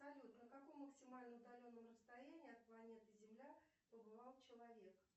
салют на каком максимально удаленном расстоянии от планеты земля побывал человек